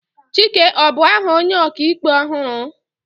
Chike ọ bu aha onye ọka ikpe ọhụrụ?